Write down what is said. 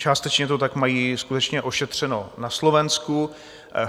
Částečně to tak mají skutečně ošetřeno na Slovensku.